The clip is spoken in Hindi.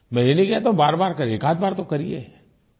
मैं ये नहीं कहता हूँ बारबार करिये एकआध बार तो करिये